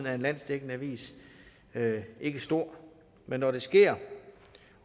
af en landsdækkende avis ikke stor men når det sker